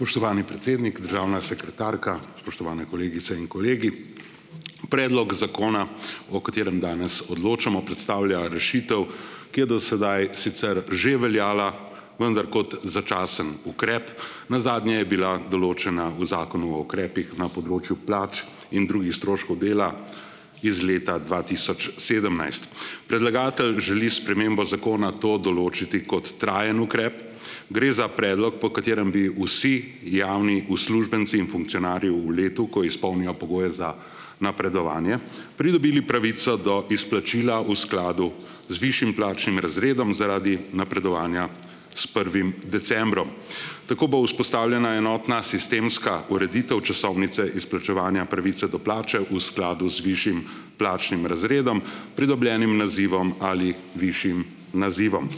Spoštovani predsednik, državna sekretarka, spoštovane kolegice in kolegi. Predlog zakona, o katerem danes odločamo, predstavlja rešitev, ki je do sedaj sicer že veljala, vendar kot začasen ukrep, na zadnje je bila določena v Zakonu o ukrepih na področju plač in drugih stroškov dela iz leta dva tisoč sedemnajst. Predlagatelj želi s spremembo zakona to določiti kot trajen ukrep. Gre za predlog, po katerem bi vsi javni uslužbenci in funkcionarji v letu, ko izpolnijo pogoje za napredovanje, pridobili pravico do izplačila v skladu z višjim plačnim razredom zaradi napredovanja s prvim decembrom. Tako bo vzpostavljena enotna sistemska ureditev časovnice izplačevanja pravice do plače v skladu z višjim plačnim razredom, pridobljenim nazivom ali višjim nazivom.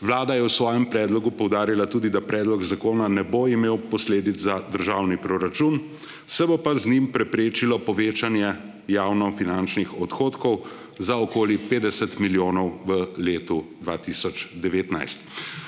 Vlada je v svojem predlogu poudarila tudi, da predlog zakona ne bo imel posledic za državni proračun, se bo pa z njim preprečilo povečanje javnofinančnih odhodkov za okoli petdeset milijonov v letu dva tisoč devetnajst.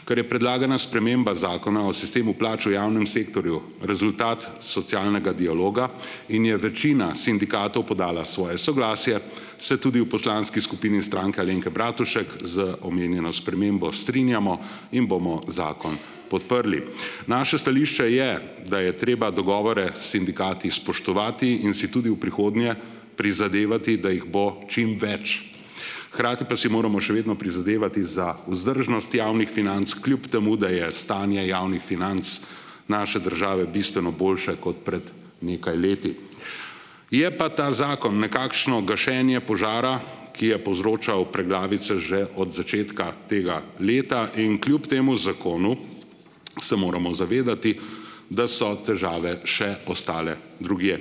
Ker je predlagana sprememba Zakona o sistemu plač v javnem sektorju rezultat socialnega dialoga in je večina sindikatov podala svoje soglasje se tudi v poslanski skupini Stranke Alenke Bratušek z omenjeno spremembo strinjamo in bomo zakon podprli. Naše stališče je, da je treba dogovore s sindikati spoštovati in si tudi v prihodnje prizadevati, da jih bo čim več, hkrati pa si moramo še vedno prizadevati za vzdržnost javnih financ kljub temu, da je stanje javnih financ naše države bistveno boljše kot pred nekaj leti. Je pa ta zakon nekakšno gašenje požara, ki je povzročal preglavice že od začetka tega leta in kljub temu zakonu se moramo zavedati, da so težave še ostale drugje.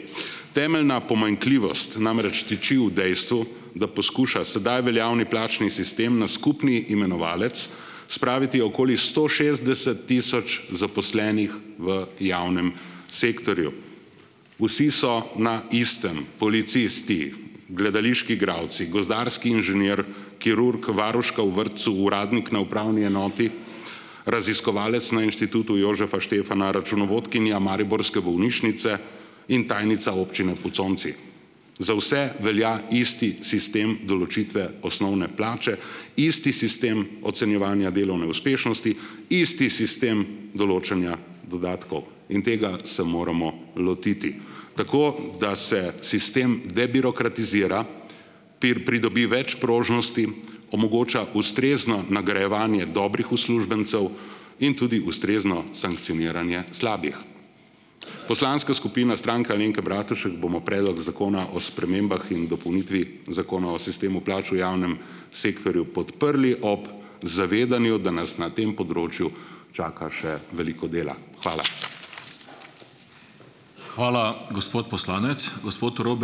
Temeljna pomanjkljivost namreč tiči v dejstvu, da poskuša sedaj veljavni plačni sistem na skupni imenovalec spraviti okoli sto šestdeset tisoč zaposlenih v javnem sektorju. Vsi so na istem: policisti, gledališki igralci, gozdarski inženir, kirurg, varuška v vrtcu, uradnik na upravni enoti, raziskovalec na Inštitutu Jožefa Stefana, računovodkinja mariborske bolnišnice in tajnica občine Puconci. Za vse velja isti sistem določitve osnovne plače, isti sistem ocenjevanja delovne uspešnosti, isti sistem določanja dodatkov. In tega se moramo lotiti tako, da se sistem debirokratizira, pridobi več prožnosti, omogoča ustrezno nagrajevanje dobrih uslužbencev in tudi ustrezno sankcioniranje slabih. Poslanska skupina Stranke Alenke Bratušek bomo predlog zakona o spremembah in dopolnitvi Zakona o sistemu plač v javnem sektorju podprli ob zavedanju, da nas na tem področju čaka še veliko dela. Hvala.